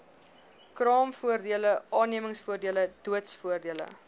kraamvoordele aannemingsvoordele doodsvoordele